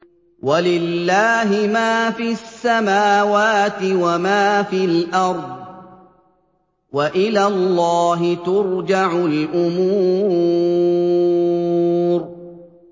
وَلِلَّهِ مَا فِي السَّمَاوَاتِ وَمَا فِي الْأَرْضِ ۚ وَإِلَى اللَّهِ تُرْجَعُ الْأُمُورُ